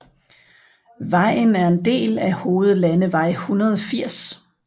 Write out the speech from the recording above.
Vejen er en del af hovedlandevej 180